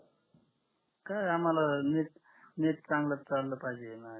काय आम्हाला net net चांगल चाल पाहिजे न